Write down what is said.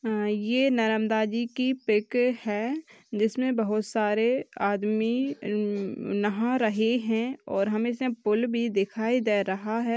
ये की पिक है जिसमे बहुत सारे आदमी नहाँ रहे है और हमें इसमें पुल भी दिखाई दे रहा है।